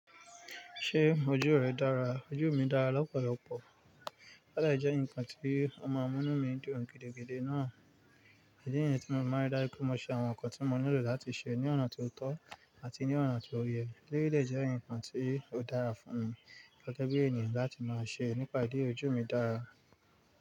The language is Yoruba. Ṣé ojú rẹ dára? Ojú mi dára lọ́pọ̀lọpọ̀. Ó dè jẹ́ ǹkan tí o maa n mú inú mi dùn gidigidi náà. Idi niyẹn tí mo fi máa ń ri dájú mo ṣe àwọn nǹkan tí mo nílò láti ṣe ní ọ̀nà tó tọ́ àti ní ọ̀nà tó yẹ. Eleyii dẹ́ je ǹkan tí ó dára fún mi gẹ́gẹ́ bí ènèyàn láti máa ṣe nípa ìdí eyii, ojú mi dára.